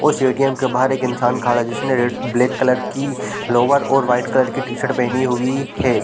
उस A. T. M. के बाहर एक इंसान खड़ा है जिसने ब्लैक कलर की लोवर और वाइट कलर की शर्ट पहनी हुई है।